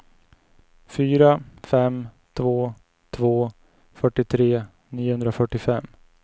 fyra fem två två fyrtiotre niohundrafyrtiofem